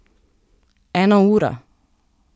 Ena ura?